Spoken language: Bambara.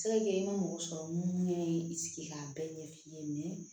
Se ka kɛ i ma mɔgɔ sɔrɔ mun ɲɛ ye i sigi k'a bɛɛ ɲɛf'i ye mɛ